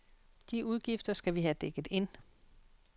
De udgifter skal vi have dækket ind.